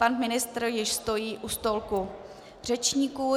Pan ministr už stojí u stolku řečníků.